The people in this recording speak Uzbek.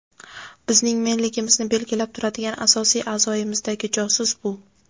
bizning "men"ligimizni belgilab turadigan asosiy a’zoyimizdagi josus bu.